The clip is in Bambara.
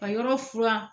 Ka yɔrɔ furan